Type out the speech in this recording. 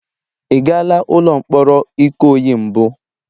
Ị gala ụlọ mkpọrọ Ikoyi mbụ?